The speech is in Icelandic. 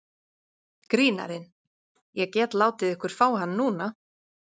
Grínarinn: Ég get látið ykkur fá hann núna.